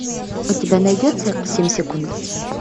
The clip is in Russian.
у тебя найдется семь секунд